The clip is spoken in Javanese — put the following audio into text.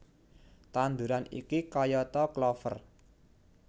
Tanduran iki kayata klover